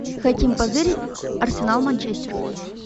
хотим позырить арсенал манчестер